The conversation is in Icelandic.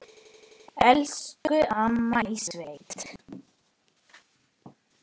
Elsku amma í sveit.